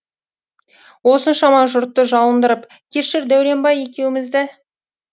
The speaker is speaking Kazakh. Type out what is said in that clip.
осыншама жұртты жалындырып кешір дәуренбай екеумізді